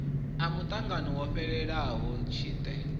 a muṱangano wo fhelaho tshite